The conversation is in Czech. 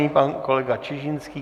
Nyní pan kolega Čižinský.